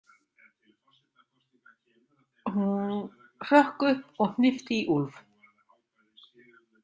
Hún hrökk upp og hnippti í Úlf.